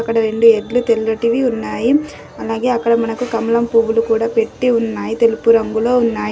అక్కడ రెండు ఎడ్లు తెల్లటివి ఉన్నాయి. అలాగే అక్కడ మనకు కమలం పువ్వులు కూడా పెట్టి ఉన్నాయ్. తెలుపు రంగులో ఉన్నాయ్.